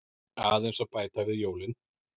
Aðeins að bæta við jólin.